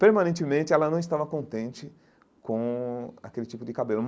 Permanentemente, ela não estava contente com aquele tipo de cabelo.